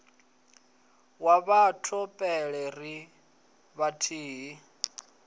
wa batho pele ri vhathihi